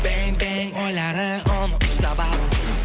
бен бен ойлары оны ұстап алып